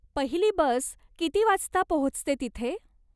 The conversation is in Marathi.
पहिली बस किती वाजता पोहोचते तिथे?